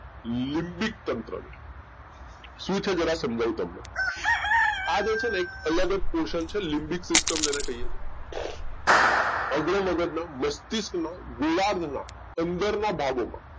લીબીક્તંત્ર શું છે સમજાવું જરા તમને આ છે ને એક અલગ જ લીબીક system જેને કહીએ છીએ અગ્ર મગજ નો મસ્તિષ્ક નો ગોળાર્ધ ના અંદર ના ભાગો ના